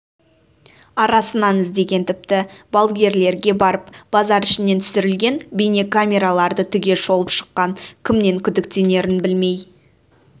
арасынан іздеген тіпті балгерлерге барып базар ішінде түсірілген бейнекамераларды түгел шолып шыққан кімнен күдіктенерін білмей